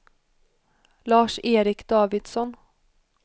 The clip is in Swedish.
Lars-Erik Davidsson